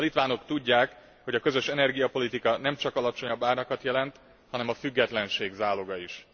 A litvánok tudják, hogy a közös energiapolitika nem csak alacsonyabb árakat jelent, hanem a függetlenség záloga is.